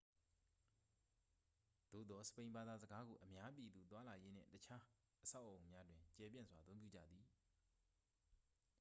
သို့သော် စပိန်ဘာသာစကားကို အများပြည်သူသွားလာရေးနှင့် အခြား အဆောက်အအုံများတွင် ကျယ်ပြန့်စွာ အသုံးပြုကြသည်